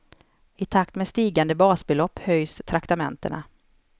I takt med stigande basbelopp höjs traktamentena.